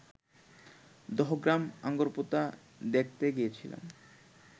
দহগ্রাম আঙ্গরপোতা দেখতে গিয়েছিলাম